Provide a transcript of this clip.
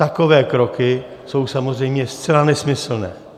Takové kroky jsou samozřejmě zcela nesmyslné.